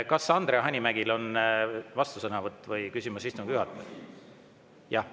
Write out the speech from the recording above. Kas Andre Hanimägil on vastusõnavõtt või küsimus istungi juhatajale?